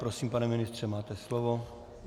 Prosím, pane ministře, máte slovo.